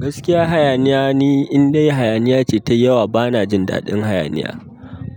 Gaskiya hayaniya ne, in dai hayaniya ce tai yawa bana jin daɗin hayaniya.